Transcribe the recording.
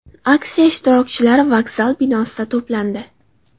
Aksiya ishtirokchilari vokzal binosida to‘plandi.